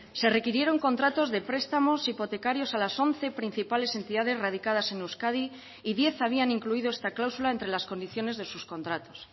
se requirieron contratos de prestamos hipotecarios a las once principales entidades radicadas en euskadi y diez habían incluido esta cláusula entre las condiciones de sus contratos